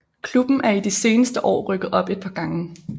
Klubben er i de seneste år rykket op et par gange